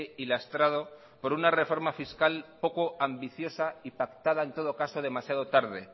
y lastrado por una reforma fiscal poco ambiciosa y pactada en todo caso demasiado tarde